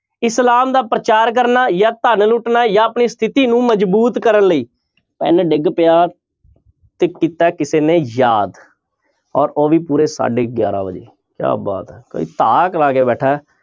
ਇਸਲਾਮ ਦਾ ਪ੍ਰਚਾਰ ਕਰਨਾ ਜਾਂ ਧਨ ਲੁਟਣਾ ਜਾਂ ਆਪਣੀ ਸਥਿਤੀ ਨੂੰ ਮਜ਼ਬੂਤ ਕਰਨ ਲਈ, ਪੈਨ ਡਿੱਗ ਪਿਆ ਤੇ ਕੀਤਾ ਕਿਸੇ ਨੇ ਯਾਦ ਔਰ ਉਹ ਵੀ ਪੂਰੇ ਸਾਢੇ ਗਿਆਰਾਂ ਵਜੇ ਕਿਆ ਬਾਤ ਹੈ ਕੋਈ ਧਾਕ ਲਾ ਕੇ ਬੈਠੇ ਹੈ